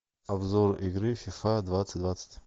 обзор игры фифа двадцать двадцать